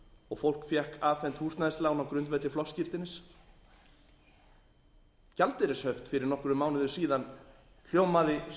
og fólk fékk afhent húsnæðislán á grundvelli flokksskírteinis gjaldeyrishöft fyrir nokkrum mánuðum síðan hljómaði